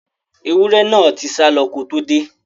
Ẹwúrẹ́ náà tí sálọ ko tó dé.